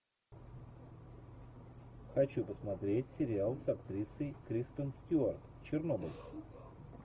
хочу посмотреть сериал с актрисой кристен стюарт чернобыль